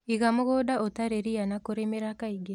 Iga mũgũnda ũtarĩ ria na kũrĩmĩra kaingĩ